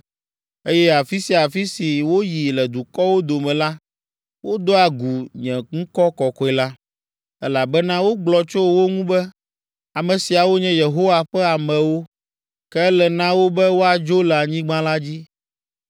Eye afi sia afi si woyi le dukɔwo dome la, wodoa gu nye ŋkɔ kɔkɔe la, elabena wogblɔ tso wo ŋu be, ‘Ame siawo nye Yehowa ƒe amewo, ke ele na wo be woadzo le anyigba la dzi.’